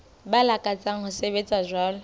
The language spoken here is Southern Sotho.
ba lakatsang ho sebetsa jwalo